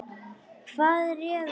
Hvað réði því?